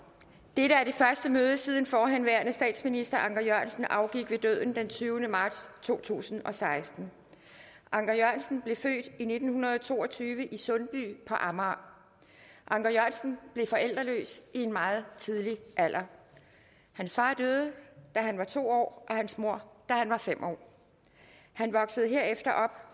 dette er det første møde siden forhenværende statsminister anker jørgensen afgik ved døden den tyvende marts to tusind og seksten anker jørgensen blev født i nitten to og tyve i sundby på amager anker jørgensen blev forældreløs i en meget tidlig alder hans far døde da han var to år og hans mor da han var fem år han voksede herefter